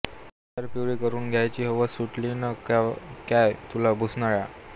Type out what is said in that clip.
ईजार पिवळी करुन घ्याय्ची हावस सुट्ली न क्काय तुला भूसनाळ्या